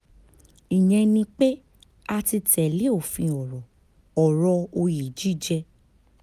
ìyẹn ni pé a ti tẹ̀lé òfin ọ̀rọ̀ ọ̀rọ̀ òye jíjẹ́